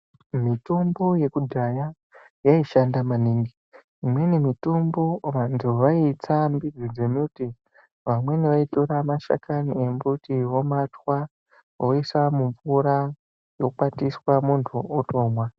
Mitombo yekudhaya yaishanda maningi imweni mitombo vantu vaitsa ndidzo dzemiti vamweni vaitora mashakani emiti vomatwa voisa mumvura vokwatisa muntu otomwa.